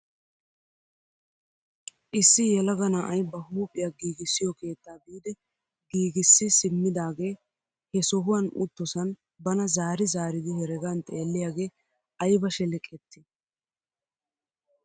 Issi yelaga na'ay ba huuphphiyaa giigissiyoo keettaa biidi giigissi simmidaagee he sohuwaan uttosan bana zaari zaaridi heregaan xeelliyaagee ayba sheleqettii!